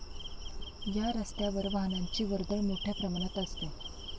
या रस्त्यावर वाहनांची वर्दळ मोठ्या प्रमाणात असते.